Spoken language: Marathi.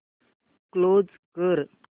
क्लोज कर